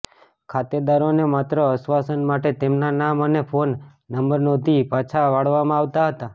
ખાતેદારોને માત્ર આશ્વાસન માટે તેમના નામ અને ફોન નંબર નોંધી પાછા વળાવવામાં આવતાં હતા